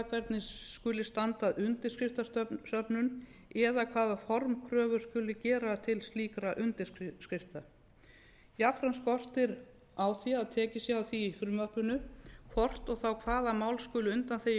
hvernig skuli standa að undirskriftasöfnun eða hvaða formkröfur skuli gera til slíkra undirskrifta jafnframt skortir á að tekið sé á því í frumvarpinu hvort og þá hvaða mál skuli undanþegin